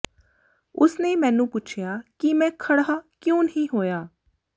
ਉਸ ਨੇ ਮੈਨੂੰ ਪੁੱਛਿਆ ਕਿ ਮੈਂ ਖੜ੍ਹਾ ਕਿਉਂ ਨਹੀਂ ਹੋਇਆ